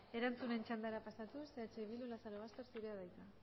erantzunen txandara pasatuz eh bildu lazarobaster zurea da hitza